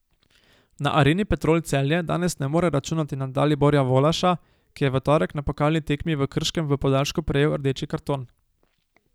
Na Areni Petrol Celje danes ne more računati na Daliborja Volaša, ki je v torek na pokalni tekmi v Krškem v podaljšku prejel rdeči karton.